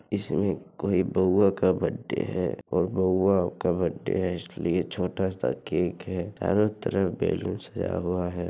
यह कोई बाउवा का बर्थडे है और बाउवा का बर्थडे है इसलिए छोटा सा केक है चारों तरफ बैलून्स लगा हुआ है।